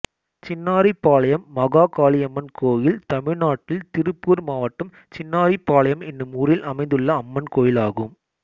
சின்னாரிபாளையம் மாகாளியம்மன் கோயில் தமிழ்நாட்டில் திருப்பூர் மாவட்டம் சின்னாரிபாளையம் என்னும் ஊரில் அமைந்துள்ள அம்மன் கோயிலாகும்